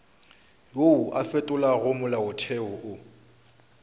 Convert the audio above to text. wo o fetolago molaotheo o